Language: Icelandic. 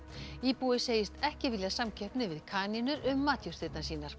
íbúi segist ekki vilja samkeppni við kanínur um matjurtirnar sínar